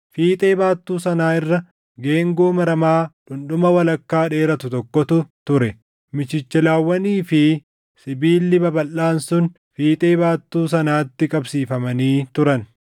Fiixee baattuu sanaa irra geengoo maramaa dhundhuma walakkaa dheeratu tokkotu ture. Michichilawwanii fi sibiilli babalʼaan sun fiixee baattuu sanaatti qabsiifamanii turan.